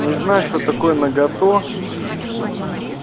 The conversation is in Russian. не знаю что такое нагота